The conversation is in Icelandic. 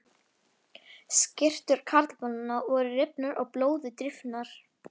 Skyrtur karlmannanna voru rifnar og blóði drifnar.